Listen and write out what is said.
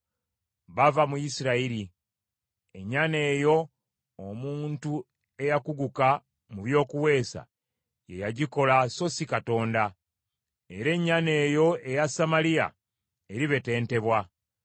Bava mu Isirayiri. Ennyana eyo omuntu eyakuguka mu by’okuweesa, ye yagikola so si Katonda. Era ennyana eyo eya Samaliya eribetentebwa.